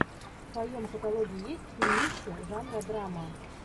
в твоем каталоге есть фильмище жанра драма